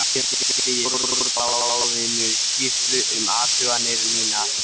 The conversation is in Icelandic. Síðan sendi ég Stjórnarráðinu skýrslu um athuganir mínar.